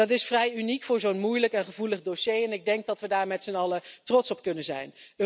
Dat is vrij uniek voor zo'n moeilijk en gevoelig dossier en ik denk dat we daar met z'n allen trots op kunnen zijn.